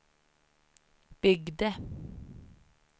byggde